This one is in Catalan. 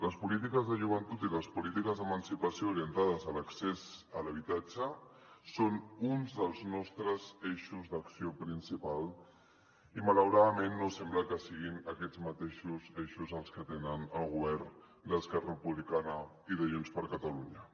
les polítiques de joventut i les polítiques d’emancipació orientades a l’accés a l’habitatge són uns dels nostres eixos d’acció principal i malauradament no sembla que siguin aquests mateixos eixos els que tenen el govern d’esquerra republicana i de junts per catalunya